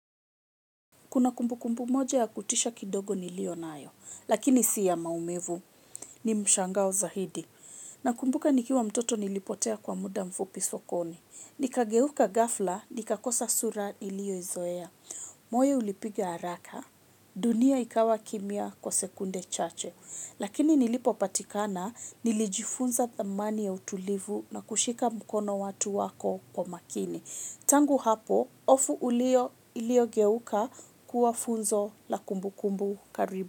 Kuna kumbu kumbu moja ya kutisha kidogo niliyo nayo, lakini si ya maumivu, ni mshangao zaidi. Nakumbuka nikiwa mtoto nilipotea kwa muda mfupi sokoni. Nikageuka ghafla, nikakosa sura nilio izoea. Moyo ulipiga haraka, dunia ikawa kimia kwa sekunde chache. Lakini nilipopatikana, nilijifunza thamani ya utulivu na kushika mkono watu wako kwa makini. Tangu hapo, iliyo geuka kuwa funzo la kumbu kumbu karibu.